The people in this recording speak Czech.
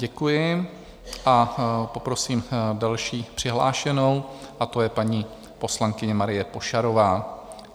Děkuji a poprosím další přihlášenou, a to je paní poslankyně Marie Pošarová.